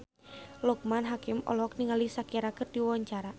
Loekman Hakim olohok ningali Shakira keur diwawancara